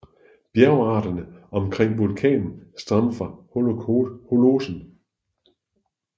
Bjergarterne omkring vulkanen stammer fra holocen